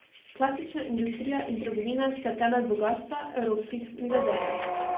Klasična industrija in trgovina sta temelj bogastva evropskih milijarderjev.